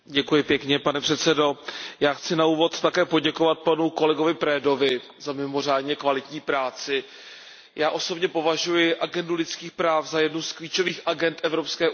Pane předsedající, já chci na úvod také poděkovat panu kolegovi Danu Predovi za mimořádně kvalitní práci. Já osobně považuji agendu lidských práv za jednu z klíčových agend Evropské unie.